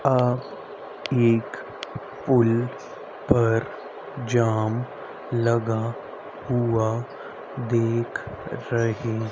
आ एक पुल पर जाम लगा हुआ देख रहे।